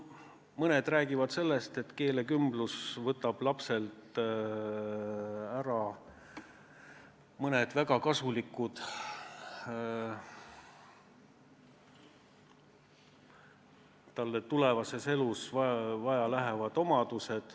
Mõned räägivad sellest, et keelekümblus võtab lapselt ära mõned talle tulevases elus väga vajaminevad oskused.